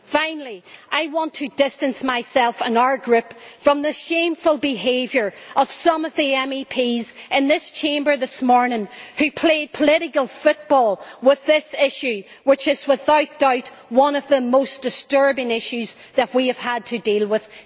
Finally, I want to distance myself and our Group from the shameful behaviour of some of the MEPs in this Chamber this morning who play political football with this issue which is, without doubt, one of the most disturbing issues that we have had to deal with.